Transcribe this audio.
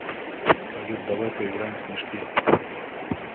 салют давай поиграем в снежки